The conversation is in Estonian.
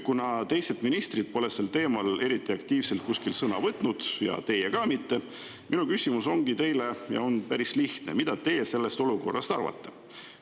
Kuna teised ministrid pole sel teemal eriti aktiivselt kuskil sõna võtnud ja teie ka mitte, siis minu küsimus ongi teile ja on päris lihtne: mida teie sellest olukorrast arvate?